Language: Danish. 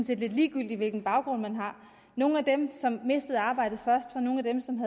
set lidt ligegyldigt hvilken baggrund man har nogle af dem som mistede arbejdet først var nogle af dem som